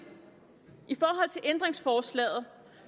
ændringsforslaget